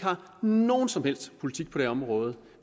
nogen som helst politik på det område